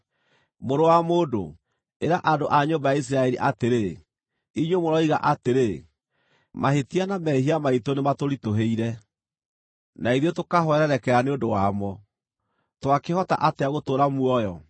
“Mũrũ wa mũndũ, ĩra andũ a nyũmba ya Isiraeli atĩrĩ, ‘Inyuĩ mũroiga atĩrĩ: “Mahĩtia na mehia maitũ nĩmatũritũhĩire, na ithuĩ tũkahwererekera nĩ ũndũ wamo. Twakĩhota atĩa gũtũũra muoyo?” ’